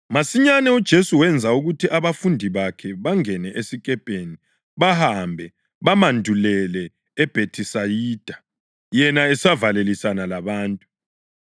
Masinyane uJesu wenza ukuthi abafundi bakhe bangene esikepeni bahambe bamandulele eBhethisayida, yena esavalelisana labantu.